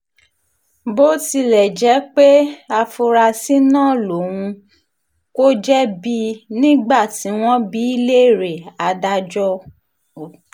bó tilẹ̀ jẹ́ pé afurasí náà lòun kò jẹ̀bi nígbà tí wọ́n bi í léèrè adájọ́ o